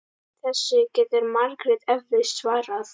Þessu getur Margrét eflaust svarað.